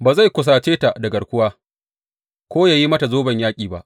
Ba zai kusace ta da garkuwa ko yă yi mata zoben yaƙi ba.